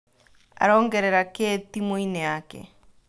Arongerera kĩĩ timuinĩ yake ?